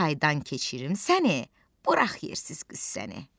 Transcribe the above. Çaydan keçirim səni, burax yersiz qüssəni.